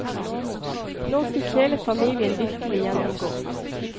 Nå fikk hele familien virkelig gjennomgå.